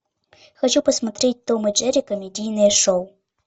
хочу посмотреть том и джерри комедийное шоу